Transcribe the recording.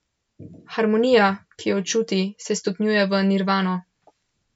Harmonija, ki jo čuti, se stopnjuje v nirvano.